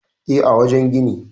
E, a wajen gini.